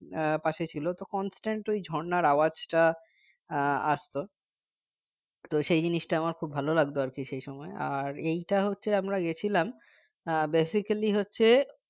আহ পাশে ছিল তো constant ওই ঝরনার আওয়াজটা আহ আসত তো সেই জিনিসটা আমার খুব ভাল লাগত আর কি সেই সময় আর এইটা হচ্ছে আমরা গিয়েছিলাম আহ basically হচ্ছে